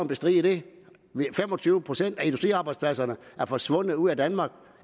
bestride det fem og tyve procent af industriarbejdspladserne er forsvundet ud af danmark